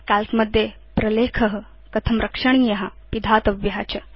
काल्क मध्ये प्रलेख कथ रक्षणीय पिधातव्य च